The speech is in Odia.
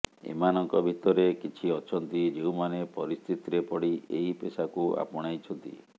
ଏମାନଙ୍କ ଭିତରେ କିଛି ଅଛନ୍ତି ଯେଉଁମାନେ ପରିସ୍ଥିତିରେ ପଡ଼ି ଏହି ପେସାକୁ ଆପଣାଇଛନ୍ତି